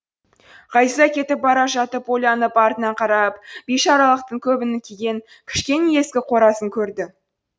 ғазиза кетіп бара жатып ойланып артына қарап бишаралықтың көбін киген кішкене ескі қорасын көрді